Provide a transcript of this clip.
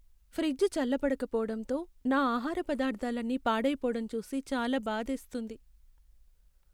Fridge చల్లబడకపోవడంతో నా ఆహార పదార్థాలన్నీ పాడైపోవడం చూసి చాలా బాధేస్తుంది.